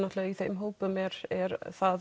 í þeim hópum er er það